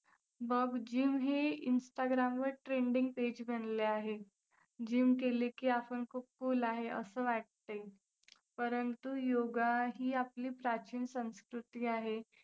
बघ gym हे instagram वर trending page बनले आहे. gym केली की आपण खूप cool आहे असं वाटते. परंतु योगाही आपली प्राचीन संस्कृती आहे.